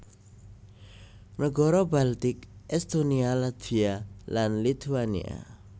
Nagara Baltik Estonia Latvia lan Lituania